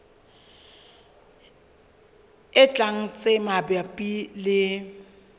e tlang tse mabapi le